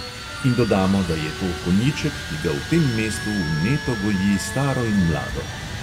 In dodamo, da je to konjiček, ki ga v tem mestu vneto goji staro in mlado.